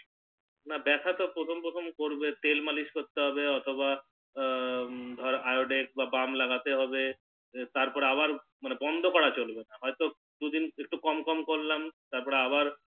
না বেথা তো প্রথম প্রথম করবেই তেল মালিশ করতে হবে অথবা ধরে Iodex বা Balm লাগাতে হবে তারপর আবার মানে বন্দ করা চলবে না হয়তো দুদিন কম কম করলাম তারপর আবার